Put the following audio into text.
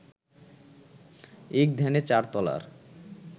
এক ধ্যানে চার তলার